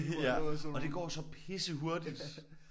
Ja og det går så pissehurtigt